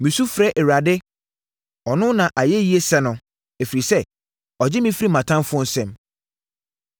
“Mesu frɛ Awurade; ɔno na ayɛyie sɛ no, ɛfiri sɛ, ɔgye me firi mʼatamfoɔ nsam.